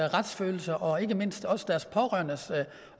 retsfølelse og ikke mindst også deres pårørendes